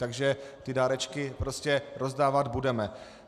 Takže ty dárečky prostě rozdávat budeme.